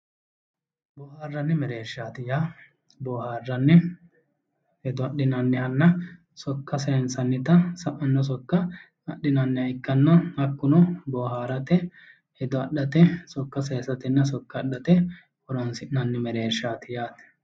Booharani mereersha yaa booharanni hedo adhinannihanna sokka saynsannitta biifino sokka adhinanniha ikkanna hakkuno booharate hedo adhate sokka saysatenna horonsi'nanni mereershati yaate.